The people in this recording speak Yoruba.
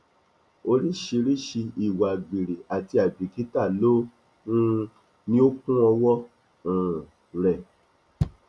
oríṣiríṣii ìwà àgbèrè àti àìbìkítà ló um ní ó kún ọwọ um rẹ